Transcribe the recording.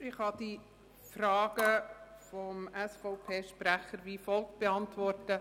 Ich kann die Fragen des SVPSprechers wie folgt beantworten: